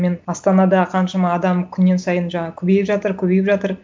мен астанада қаншама адам күннен сайын жаңа көбейіп жатыр көбейіп жатыр